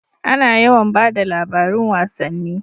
A na yawan bada labarin wasanni